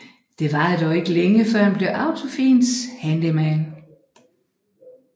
Det varede dog ikke længe før han blev Autofins handyman